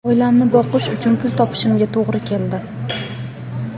Oilamni boqish uchun pul topishimga to‘g‘ri keldi.